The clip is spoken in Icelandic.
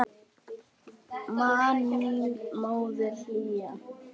Man mildi þína móðirin hlýja.